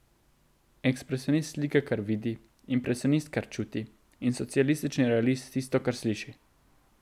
Ekspresionist slika, kar vidi, impresionist, kar čuti, in socialistični realist tisto, kar sliši.